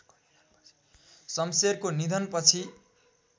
शम्शेरको निधन पछि